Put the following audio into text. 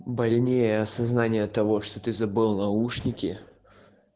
больнее осознание того что ты забыл наушники